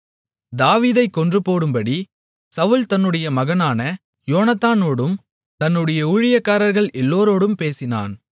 தாவீதைக் கொன்றுபோடும்படி சவுல் தன்னுடைய மகனான யோனத்தானோடும் தன்னுடைய ஊழியக்காரர்கள் எல்லோரோடும் பேசினான்